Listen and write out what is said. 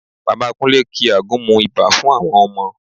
Bàbá Kúnlé ki àgúnmu ibà fún àwọn ọmọ